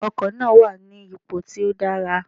Ọkò náà wà ní ipò tí ó dára